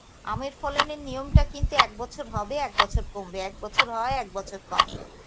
আমের ফলনের নিয়মটা কিন্তু এক বছর হবে এক বছর কমবে, এক বছর হয় এক বছর কমে